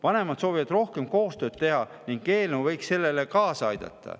Vanemad soovivad rohkem koostööd teha ning eelnõu võiks sellele kaasa aidata.